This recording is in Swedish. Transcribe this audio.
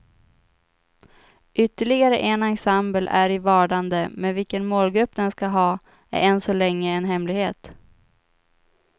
Ytterligare en ensemble är i vardande, men vilken målgrupp den ska ha är än så länge en hemlighet.